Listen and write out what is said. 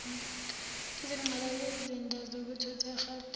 izinqalasizinda zezokuthutha egauteng